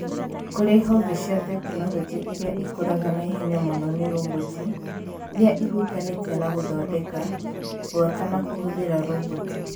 Kũrĩ honge cia tekinoronjĩ iria ikũraga na ihenya mũno nĩ roboti, ĩrĩa ĩhutanĩtie na gũthondeka, gwaka na kũhũthĩra roboti